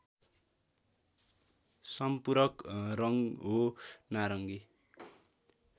सम्पूरक रङ्ग हो नारङ्गी